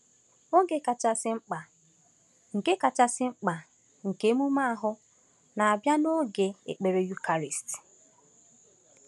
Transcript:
Oge kachasị mkpa nke kachasị mkpa nke emume ahụ na-abịa n’oge ekpere Eucharist.